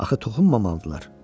Axı toxunmamalıdırlar.